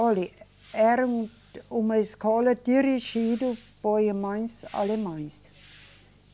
Olhe, era uma escola dirigida por irmãs alemãs.